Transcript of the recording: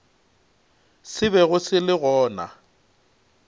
se bego se le gona